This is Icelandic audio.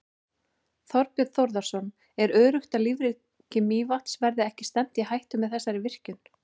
Þorbjörn Þórðarson: Er öruggt að lífríki Mývatns verði ekki stefnt í hættu með þessari virkjun?